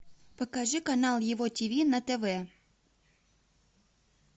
покажи канал его тиви на тв